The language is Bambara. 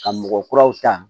Ka mɔgɔ kuraw ta